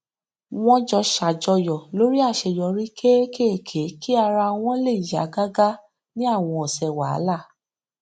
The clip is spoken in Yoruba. wọn jọ ṣàjọyọ lórí àṣeyọrí kéékèèké kí ara wọn lè yá gágá ní àwọn ọsẹ wàhálà